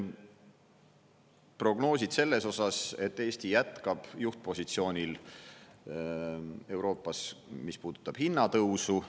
Prognoosid selles osas, et Eesti jätkab juhtpositsioonil Euroopas, mis puudutab hinnatõusu.